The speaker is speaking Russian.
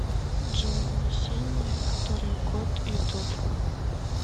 джой ясения который год ютуб